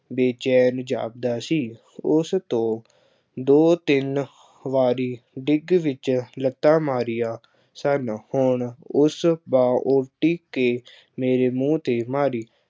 ਬੇਚੈਨ ਜਾਪਦਾ ਸੀ। ਉਸ ਤੋਂ ਦੋ ਤਿੰਨ ਵਾਰੀ ਡਿੱਗ ਵਿੱਚ ਲੱਤਾਂ ਮਾਰੀਆਂ ਸਨ। ਹੁਣ ਉਸ ਬਾਂਹ ਉਲਟੀ ਕੇ ਮੇਰੇ ਮੂੰਹ ਤੇ ਮਾਰੀ।